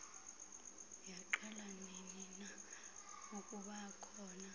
yaqala ninina ukubakhona